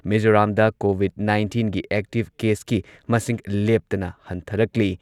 ꯃꯤꯖꯣꯔꯥꯝꯗ ꯀꯣꯚꯤꯗ ꯅꯥꯏꯟꯇꯤꯟꯒꯤ ꯑꯦꯛꯇꯤꯚ ꯀꯦꯁꯀꯤ ꯃꯁꯤꯡ ꯂꯦꯞꯇꯅ ꯍꯟꯊꯔꯛꯂꯤ꯫